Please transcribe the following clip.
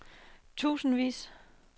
tusindvis